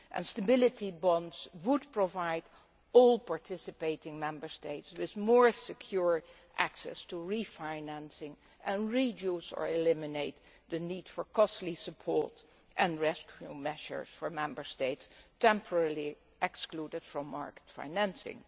Stability bonds would provide all participating Member States with more secure access to refinancing, and reduce or eliminate the need for costly support and rescue measures for Member States temporarily excluded from market financing.